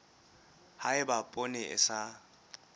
ha eba poone e sa